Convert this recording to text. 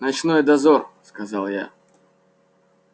ночной дозор сказал я